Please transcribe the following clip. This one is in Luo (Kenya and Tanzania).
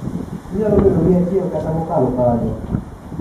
Inyalo bedo gi achiel kata mokalo kanyo.